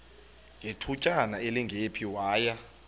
ngethutyana elingephi waya